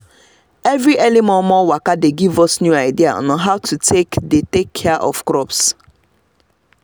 every early momo waka dey give us new idea on how to take dey take care of crops